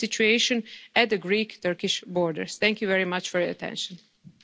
border crossings. However, the situation has to be closely monitored and we should increase our level